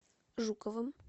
жуковым